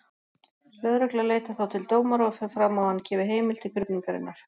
Lögregla leitar þá til dómara og fer fram á að hann gefi heimild til krufningarinnar.